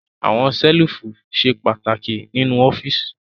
Àwọn ṣẹ́lífù ṣe pàtàkì nínú ọ́fíísì.